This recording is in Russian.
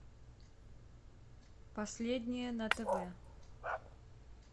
последнее на тв